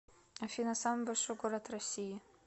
афина самый большой город россии